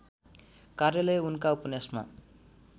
कार्यालय उनका उपन्यासमा